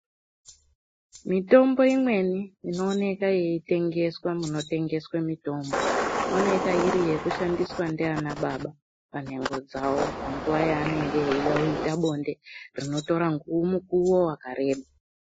Mitombo imweni inooneka yeitengeswa munotengeswe mitombo inooneka yekushandiswa ndiana baba panhengo dzao panguwa yaanenge veida kuita bonde rinotora mukuwo wakareba.